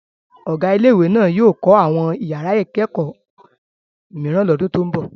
Ọ̀gá ilé-ìwé náà yóò kọ́ àwọn ìyàrá-ìkẹ́kọ̀ọ́ mìíràn lọ́dún tó ń bọ̀.